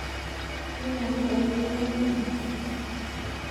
Ki lakwet ne inegei Asisi